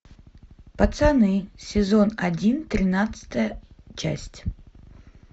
пацаны сезон один тринадцатая часть